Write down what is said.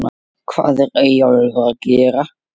HVAÐ ER EYJÓLFUR AÐ GERA????